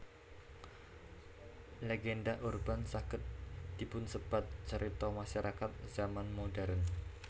Legenda urban saged dipunsebat carita masyakarat zaman modern